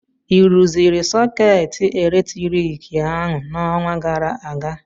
ị rụziri sọkeetị eletriki ahụ n'ọnwa gara aga?